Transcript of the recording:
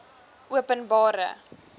openbare